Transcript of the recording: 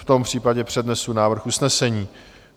V tom případě přednesu návrh usnesení.